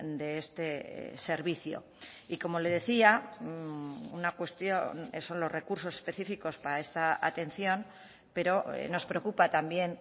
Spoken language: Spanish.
de este servicio y como le decía una cuestión son los recursos específicos para esta atención pero nos preocupa también